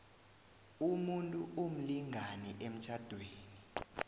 umuntu umlingani emtjhadweni